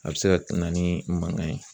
A bɛ se ka na ni mankan ye